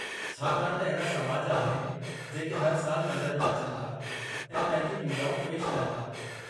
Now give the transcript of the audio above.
छाकाणि त अहिड़ा समाज आहिनि जेके हर साल मंदर में अचनि था ऐं पंहिंजी पूॼाऊं पेशि कनि था।